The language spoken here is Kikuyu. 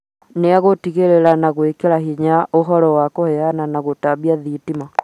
Nĩ egũtigĩrĩra na gwĩkĩra hinya ũhoro wa kũheana na gũtambia thitima